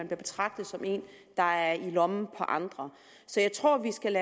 betragtet som en der er i lommen på andre så jeg tror at vi skal